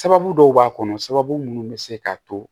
Sababu dɔw b'a kɔnɔ sababu munnu bɛ se k'a to